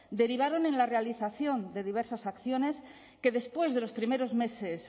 derivaron en la realización de diversas acciones que después de los primeros meses